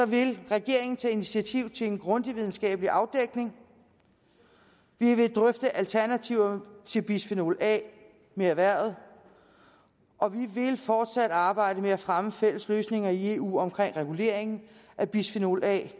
vil regeringen tage initiativ til en grundig videnskabelig afdækning vi vil drøfte alternativer til bisfenol a med erhvervet og vi vil fortsat arbejde med at fremme fælles løsninger i eu omkring reguleringen af bisfenol a